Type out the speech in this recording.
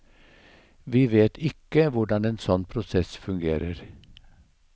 Vi vet ikke hvordan en sånn prosess fungerer.